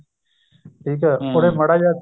ਠੀਕ ਏ ਉਹਨੇ ਮਾੜਾ ਜਾ